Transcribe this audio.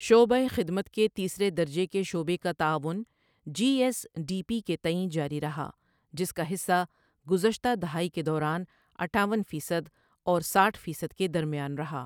شعبۂ خدمت کے تیسرے درجے کے شعبے کا تعاون جی ایس ڈی پی کے تئیں جاری رہا جس کا حصہ گذشتہ دہائی کے دوران اٹہاون فیصد اور ساٹھ فیصد کے درمیان رہا۔